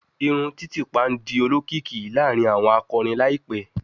Irun titipa n di olokiki laarin awọn akọrin laipẹ